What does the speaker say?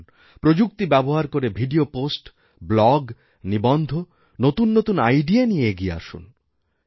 আসুন প্রযুক্তিব্যবহার করে ভিডিও পোস্ট ব্লগ নিবন্ধ নতুন নতুন আইডিয়া নিয়ে এগিয়ে আসুন